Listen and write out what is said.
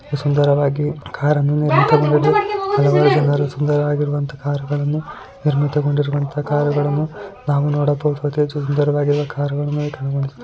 ಅತೀ ಸುಂದರವಾಗಿ ಕಾರ ನ್ನು ಹಲವಾರು ಜನರು ಸುಂದರವಾಗಿ ಇರುವಂತಹ ಕಾರುಗಳನ್ನು ನಿರ್ಮಿತವಾಗಿರುವಂತಹ ಕಾರು ಗಳನ್ನು ನಾವು ನೋಡಬಹುದಾದ ಸುಂದರವಾದ ಕಾರು ಗಳನ್ನು ಕಾಣಬಹುದು.